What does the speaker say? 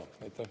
Aitäh!